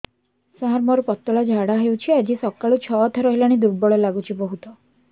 ସାର ମୋର ପତଳା ଝାଡା ହେଉଛି ଆଜି ସକାଳୁ ଛଅ ଥର ହେଲାଣି ଦୁର୍ବଳ ଲାଗୁଚି ବହୁତ